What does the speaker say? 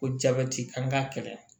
Ko jabɛti an k'a kɛlɛ